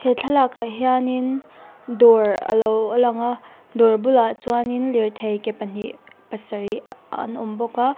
he thlalak ah hian dawr a lo a lang a dawr bulah chuan lirthei ke pahnih pasarih ah an awm bawk a.